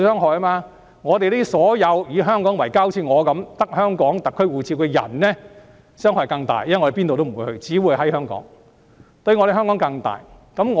這對像我一樣以香港為家的人，只持有香港特區護照的人傷害更大，因為我們哪裏也不會去，只會留在香港。